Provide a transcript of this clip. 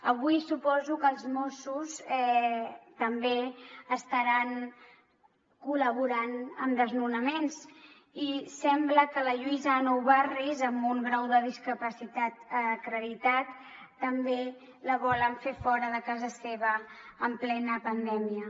avui suposo que els mossos també estaran col·laborant en desnonaments i sembla que a la lluïsa a nou barris amb un grau de discapacitat acreditat també la volen fer fora de casa seva en plena pandèmia